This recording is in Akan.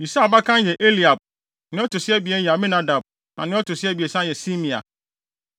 Yisai abakan yɛ Eliab nea ɔto so abien yɛ Abinadab na nea ɔto so abiɛsa yɛ Simea.